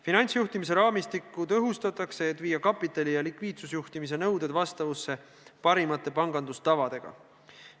Finantsjuhtimise raamistikku tõhustatakse, et viia kapitali- ja likviidsusjuhtimise nõuded vastavusse parimate pangandustavadega.